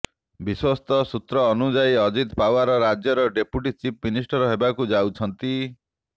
ବିଶ୍ୱସ୍ତ ସୂତ୍ର ଅନୁଯାୟୀ ଅଜିତ ପାଓ୍ୱାର ରାଜ୍ୟର ଡେପୁଟି ଚିଫ ମିନିଷ୍ଟର ହେବାକୁ ଯାଉଛନ୍ତି